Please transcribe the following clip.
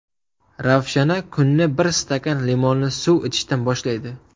Ravshana kunni bir stakan limonli suv ichishdan boshlaydi.